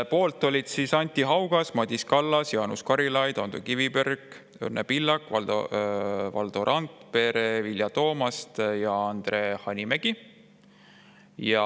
Poolt olid Anti Haugas, Madis Kallas, Jaanus Karilaid, Ando Kiviberg, Õnne Pillak, Valdo Randpere, Vilja Toomast ja Andre Hanimägi.